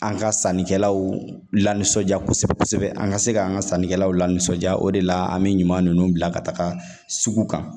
An ka sannikɛlaw lanisɔndiya kosɛbɛ kosɛbɛ an ka se ka an ka sannikɛlaw lanisɔnjaa o de la an bɛ ɲuman ninnu bila ka taga sugu kan